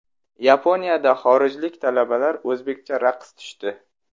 Yaponiyada xorijlik talabalar o‘zbekcha raqs tushdi .